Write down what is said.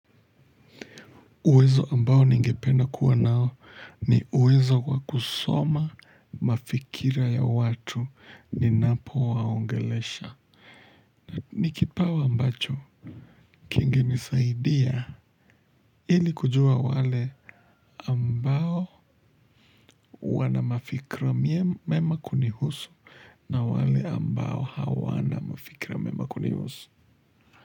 Uwezo ambao ni ngependa kuwa nao ni uwezo wa kusoma mafikira ya watu ninapo waongelesha. Ni kipao ambacho kingenisaidi ya ilikujua wale ambao wanamafikira mema kunihusu na wale ambao hawana mafikira mema kunihusu.